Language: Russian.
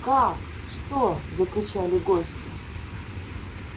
как что закричали гости